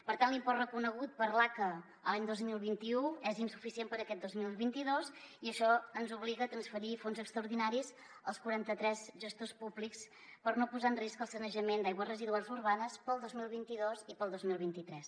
per tant l’import reconegut per l’aca l’any dos mil vint u és insuficient per aquest dos mil vint dos i això ens obliga a transferir fons extraordinaris als quaranta tres gestors públics per no posar en risc el sanejament d’aigües residuals urbanes pel dos mil vint dos i pel dos mil vint tres